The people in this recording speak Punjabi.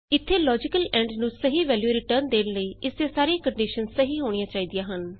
ਇਥੇ ਲੋਜੀਕਲ ਐਂਡ ਨੂੰ ਸਹੀ ਵੈਲਯੂ ਰਿਟਰਨ ਦੇਣ ਲਈ ਇਸ ਦੀਆਂ ਸਾਰੀਆਂ ਕੰਡੀਸ਼ਨਸ ਸਹੀ ਹੋਣੀਆਂ ਚਾਹੀਦੀਆਂ ਹਨ